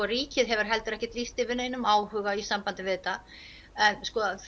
ríkið hefur ekki lýst yfir neinum áhuga í sambandi við þetta en